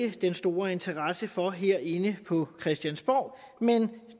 ikke den store interesse for herinde på christiansborg men